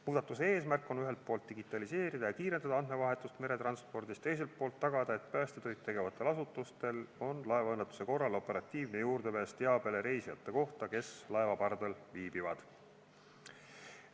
Muudatuse eesmärk on digitaliseerida ja kiirendada andmevahetust meretranspordis ning tagada, et päästetöid tegevatel asutustel on laevaõnnetuse korral operatiivne juurdepääs teabele reisijate kohta, kes laeva pardal viibivad.